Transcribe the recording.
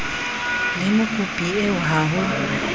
le mokopi eo ha ho